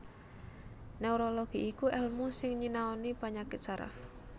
Neurologi iku èlmu sing nyinaoni panyakit saraf